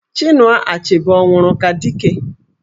Chinua Achebe ọ nwụrụ ka Dike?